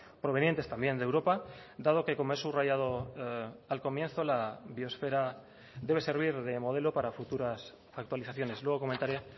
provenientes también de europa dado que como he subrayado al comienzo la biosfera debe servir de modelo para futuras actualizaciones luego comentaré